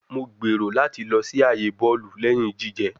Mo gbero lati lọ si aaye bọọlu lẹhin jijẹ